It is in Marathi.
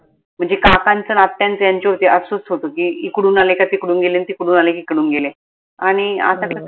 म्हनजे काकांचं न आत्याचं यांच्यावरती असच होत की, इकडून आले का तिकडून गेले न तिकडून आले का इकडून गेले आनि आता त